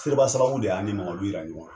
Teriba sababu de y'an ni Mamadu yira ɲɔgɔn na.